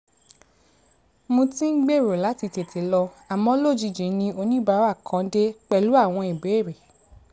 mo ti ń gbèrò láti tètè lọ àmọ́ lójijì ni oníbàárà kan dé pẹ̀lú àwọn ìbéèrè